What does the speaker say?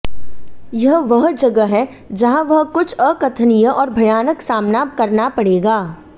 यह वह जगह है जहां वह कुछ अकथनीय और भयानक सामना करना पड़ेगा